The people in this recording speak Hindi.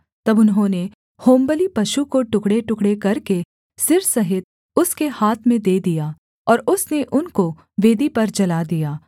तब उन्होंने होमबलि पशु को टुकड़ेटुकड़े करके सिर सहित उसके हाथ में दे दिया और उसने उनको वेदी पर जला दिया